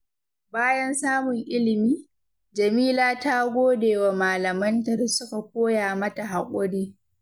Bayan samun ilimi, Jameela ta gode wa malamanta da suka koya mata haƙuri.